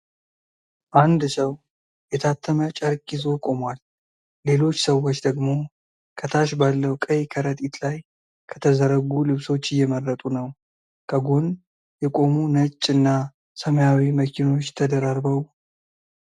አንድ ሰው የታተመ ጨርቅ ይዞ ቆሟል፤ ሌሎች ሰዎች ደግሞ ከታች ባለው ቀይ ከረጢት ላይ ከተዘረጉ ልብሶች እየመረጡ ነው። ከጎን የቆሙ ነጭ እና ሰማያዊ መኪኖች ተደራርበው ።